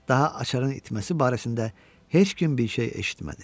Daha açarın itməsi barəsində heç kim bir şey eşitmədi.